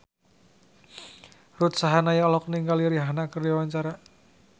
Ruth Sahanaya olohok ningali Rihanna keur diwawancara